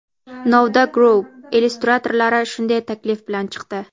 "Novda Group" illyustratorlari shunday taklif bilan chiqdi.